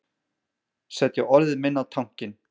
Setja orðið minna á tankinn